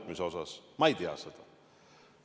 Ma ei tea seda.